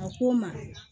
A ko n ma